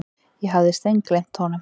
Ég hafði steingleymt honum.